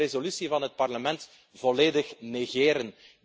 We zullen de resolutie van het Parlement volledig negeren.